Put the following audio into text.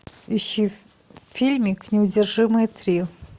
ищи фильмик неудержимые три